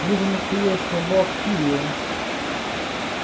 вы же настоящая бавкирия